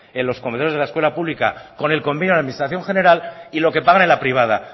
en los comedores de la escuela pública con el convenio de la administración general y lo que pagan en la privada